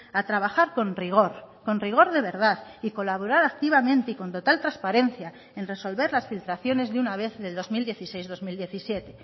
a trabajar con rigor con rigor de verdad y colaborar activamente y con total transparencia en resolver las filtraciones de una vez del dos mil dieciséis dos mil diecisiete